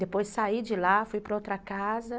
Depois saí de lá, fui para outra casa.